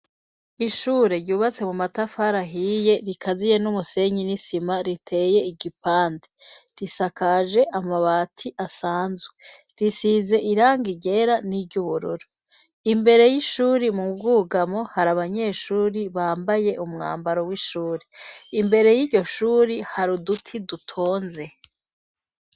Ishure ryubatse mu matafara ahiye rikaziye n'umusenyi n'isima riteye igipande risakaje amabati asanzwe risize irangi ryera niryu bururu imbere y'ishuri mu bwugamo hari abanyeshuri bambaye umwambaro w'ishuri imbere y'iryoshuri hari duti dutonze.